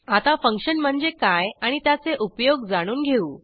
आता फंक्शन म्हणजे काय आणि त्याचे उपयोग जाणून घेऊ